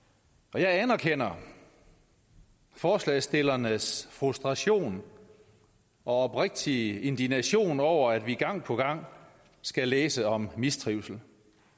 jeg anerkender forslagsstillernes frustration og oprigtige indignation over at vi gang på gang skal læse om mistrivsel